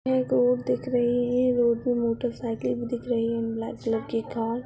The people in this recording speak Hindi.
यह एक रोड दिख रही है रोड में मोटरसाइकिल भी दिख रही। ब्लैक कलर की कार --